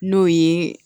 N'o ye